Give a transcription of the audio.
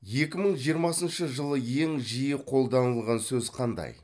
екі мың жиырмасыншы жылы ең жиі қолданылған сөз қандай